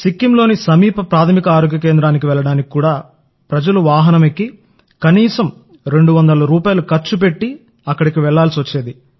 సిక్కింలోని సమీప ప్రాథమిక ఆరోగ్య కేంద్రానికి వెళ్లడానికి కూడా ప్రజలు వాహనం ఎక్కి కనీసం ఒకటి నుండి రెండు వందల రూపాయల వరకు ఖర్చు పెట్టేందుకు తీసుకెళ్లాలి